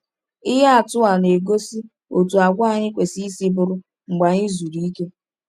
Ihe atụ a na-egosi otú àgwà anyị kwesịrị isi bụrụ mgbe anyị zuru ike.